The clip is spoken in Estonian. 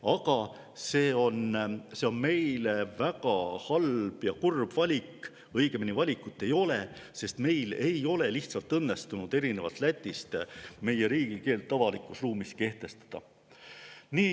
Aga see on meile väga halb ja kurb valik, õigemini valikut ei ole, sest meil ei ole lihtsalt õnnestunud erinevalt Lätist oma riigikeelt avalikus ruumis kehtestada.